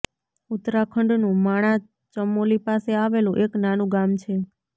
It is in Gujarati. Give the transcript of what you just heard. ઉત્તરાખંડનું માણા ચમોલી પાસે આવેલું એક નાનું ગામ છે